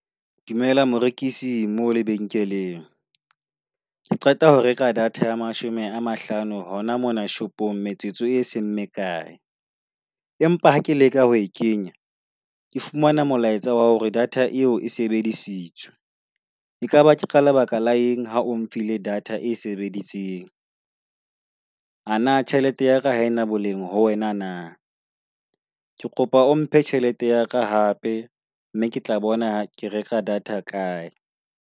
Dumela morekisi mo lebenkeleng. Ke qeta ho reka data ya mashome a mahlano hona mona shopong, metsotso e seng mme kae. Empa ha ke leka ho e kenya ke fumana molaetsa wa hore data eo e sebedisitswe. Ekaba ke ka lebaka la eng ha o mphile data e sebeditseng. A na tjhelete ya ka ena boleng ho wena na? Ke kopa o mphe tjhelete ya ka hape, mme ke tla bona ke reka data kae.